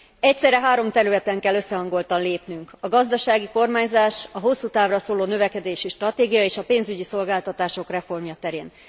Egyszerre három területen kell összehangoltan lépnünk, a gazdasági kormányzás, a hosszútávra szóló növekedési stratégia és a pénzügyi szolgáltatások reformja terén.